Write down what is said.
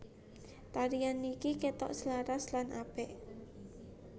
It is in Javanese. Tarian niki ketok selaras lan apik